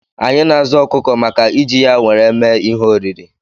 Anyị na-azụ ọkụkọ maka iji ya nwere mee ihe oriri